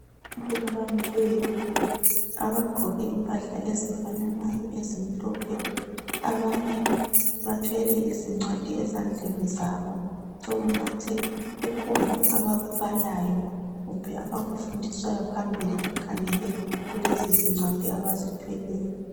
Abantu abamileyo abagqoke impahla ezifananayo ezimhlophe. Abanye bathwele izincwadi ezandleni zabo sokungathi kukhona abakubalayo kumbe abakufundiswayo phambili bekhangele lezi ncwadi abazithweleyo.